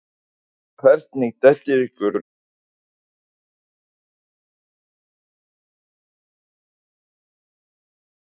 Og hvernig dettur ykkur í hug að bjóða forseta Bandaríkjanna velkominn með svona þætti?